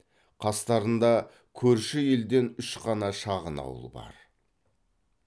қастарында көрші елден үш қана шағын ауыл бар